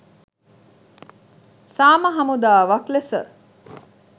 සාම හමුදාවක් ලෙස